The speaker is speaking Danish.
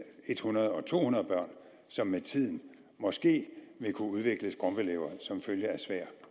hundrede og to hundrede børn som med tiden måske vil kunne udvikle skrumpelever som følge af svær